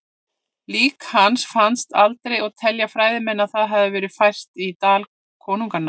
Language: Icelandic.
Lík hans fannst aldrei og telja fræðimenn að það hafi verið fært í Dal konunganna.